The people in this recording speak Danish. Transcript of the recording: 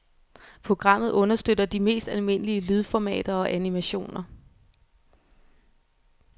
Programmet understøtter de mest almindelige lydformater og animationer.